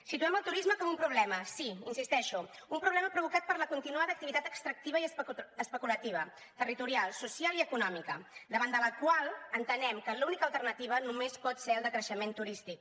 situem el turisme com un problema sí hi insisteixo un problema provocat per la continuada activitat extractiva i especulativa territorial social i econòmica davant de la qual entenem que l’única alternativa només pot ser el decreixement turístic